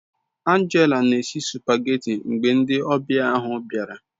Angela n'esi supageti mgbe ndi obia ahu biara